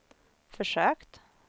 försökt